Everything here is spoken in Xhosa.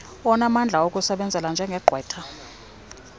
onamandla okukusebenzela njengegqwetha